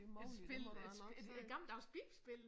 Et spil et et gammeldags bilspil?